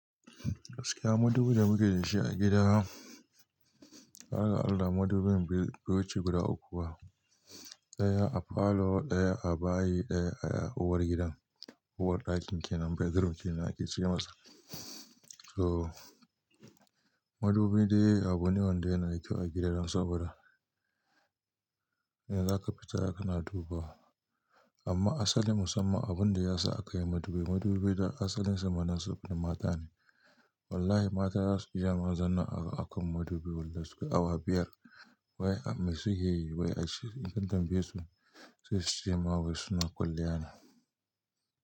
Gaskiya madubin da muke da shi a gida, tsakani da Allah madubin bai wuce guda uku ba, ɗaya a falo, ɗaya a bayi, ɗaya a uwar gidan. Uwar ɗakin kenan, bedroom kenan ake ce masa. Toh madubi dai abu ne wanda yana da kyau a gida saboda idan za ka fita kana dubawa. Amma asali musamman abin da ya sa aka yi madubi, madubi dan asalinsa ma nasu na mata ne. Wallahi mata za su iya ma zama akan madubi aikin madubi sukai awa biyar. Wai mai suke yi? Wai a ce in kun tambaye su sai su cema wai suna kwalliya ne.